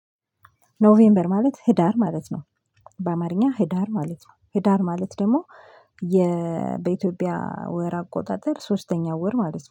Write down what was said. ኖቬምበር ማለት ህዳር ማለት ነው። በአማርኛ ህዳር ማለት ነው። ህዳር ማለት ደግሞ የ በኢትዮጵያ ወር አቆጣጠር ሶስተኛው ወር ማለት ነው